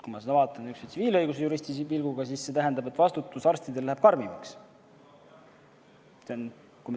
Kui ma vaatan seda üksnes tsiviilõiguse juristi pilguga, siis see tähendab, et arstide vastutus läheb karmimaks.